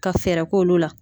Ka fɛɛrɛ k'olu la